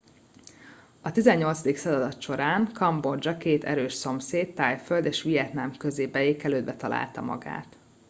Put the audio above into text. a 18. század során kambodzsa két erős szomszéd thaiföld és vietnám közé beékelődve találta magát